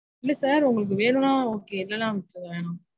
இல்ல sir உங்களுக்கு வேணுனா okay. இல்லனா வேணாம்